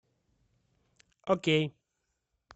окей